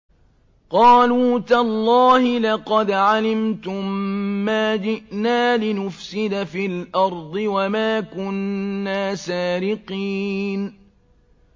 قَالُوا تَاللَّهِ لَقَدْ عَلِمْتُم مَّا جِئْنَا لِنُفْسِدَ فِي الْأَرْضِ وَمَا كُنَّا سَارِقِينَ